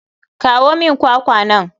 Kawo min kwakwa nan.